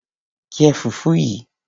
Jẹ fùfú yìí.